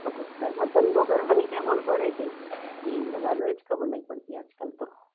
શું કરવાનું એ ખબર નહી પડતી આજ કાલ તો